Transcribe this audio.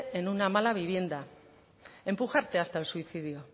en una mala vivienda empujarte hasta el suicidio